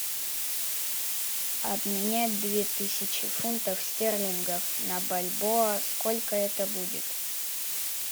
обменять две тысячи фунтов стерлингов на бальбоа сколько это будет